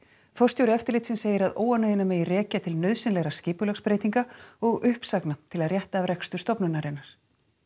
forstjóri eftirlitsins segir að óánægjuna megi rekja til nauðsynlegra skipulagsbreytinga og uppsagna til að rétta af rekstur stofnunarinnar